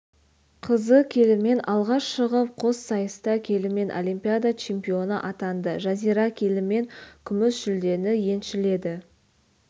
қызы келімен алға шығып қос сайыста келімен олимпиада чемпионы атанды жазира келімен күміс жүлдені еншіледі